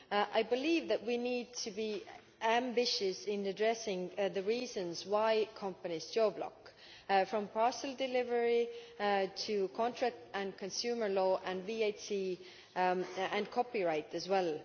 I believe that we need to be ambitious in addressing the reasons why companies geo block, from parcel delivery to contract and consumer law and VAT and copyright as well.